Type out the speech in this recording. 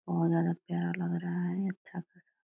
बहोत ज्यादा प्यारा लग रहा है अच्छा खासा।